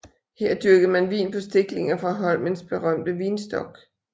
Her dyrkede man vin på stiklinger fra Holmens berømte vinstok